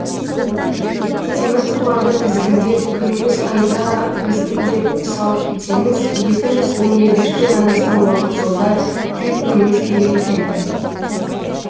темір тұлпарды тізгіндеп күніміз қайда біздің деп салып кетсеңіз екі жүз он екінші жылдан астам уақыт жолда жүйткуіңіз керек екен